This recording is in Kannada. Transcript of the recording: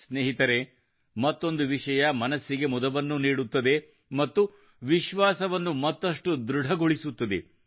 ಸ್ನೇಹಿತರೆ ಮತ್ತೊಂದು ವಿಷಯ ಮನಸ್ಸಿಗೆ ಮುದವನ್ನು ನೀಡುತ್ತದೆ ಮತ್ತು ವಿಶ್ವಾಸವನ್ನು ಮತ್ತಷ್ಟು ಧೃಡಗೊಳಿಸುತ್ತದೆ